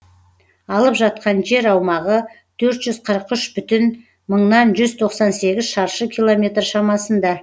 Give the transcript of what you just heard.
алып жатқан жер аумағы төрт жүз қырық үш бүтін мыңнан жүз тоқсан сегіз шаршы километр шамасында